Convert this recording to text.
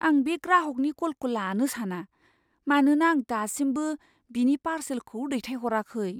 आं बे ग्राहकनि कलखौ लानो साना, मानोना आं दासिमबो बिनि पारसेलखौ दैथायहराखै।